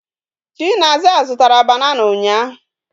Chinasa zutara banana unya